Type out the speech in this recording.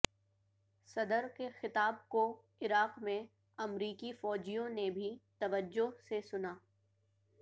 صدر کے خطاب کو عراق میں امریکی فوجیوں نے بھی توجہ سے سنا